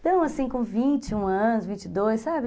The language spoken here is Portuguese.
Então, assim, com vinte e um anos, vinte e dois, sabe?